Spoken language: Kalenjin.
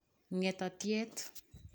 Ngetatiet